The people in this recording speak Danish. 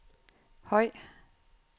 høj